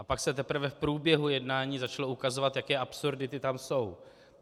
A pak se teprve v průběhu jednání začalo ukazovat, jaké absurdity tam jsou.